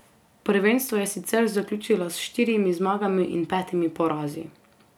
Prvenstvo je sicer zaključila s štirimi zmagami in petimi porazi.